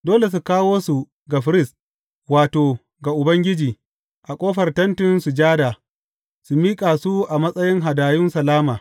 Dole su kawo su ga firist, wato, ga Ubangiji, a ƙofar Tentin Sujada, su miƙa su a matsayin hadayun salama.